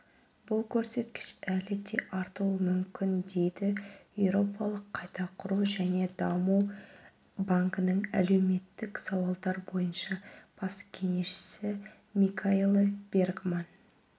бұл көрсеткіш әлі де артуы мүмкін дейді еуропалық қайта құру және даму банкінің әлеуметтік сауалдар бойынша бас кеңесшісі микаэла бергман